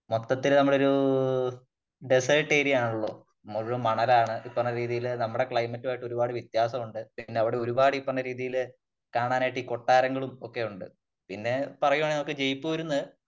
മൊത്തത്തില് നമ്മളൊരു desert area ആണല്ലോ? മുകളിലൂടെ മണലാണ് ഇപ്പറഞ്ഞ രീതിയിലുള്ള നമ്മുടെ ക്ലൈമറ്റ് ആയിട്ട് ഒരുപാട് വ്യത്യാസമുണ്ട്. പിന്നെ അവിടെ ഒരുപാട് ഈ പറഞ്ഞ രീതിയില് കാണാനായിട്ട് ഈ കൊട്ടാരങ്ങളും ഒക്കെയുണ്ട് പിന്നെ പറയുകയാണെങ്കിൽ നമുക്ക് ജയ്പ്പൂരുന്ന്